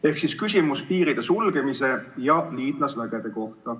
Ehk küsimus on piiride sulgemise ja liitlasvägede kohta.